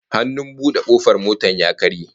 Hannun bude kofar motar ya karye